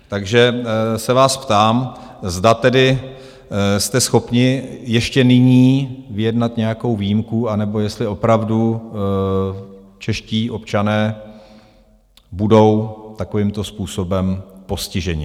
Takže se vás ptám, zda tedy jste schopni ještě nyní vyjednat nějakou výjimku, anebo jestli opravdu čeští občané budou takovýmto způsobem postiženi.